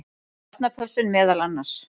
Barnapössun meðal annars.